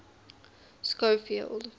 schofield